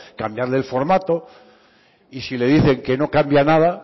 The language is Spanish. cambiarle el formato y si le dicen que no cambia nada